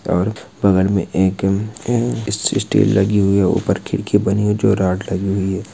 और बगल में एक अ सी स्टील लगी हुई है ऊपर खिड़की बनी हुई है जो रॉड लगी हुई है।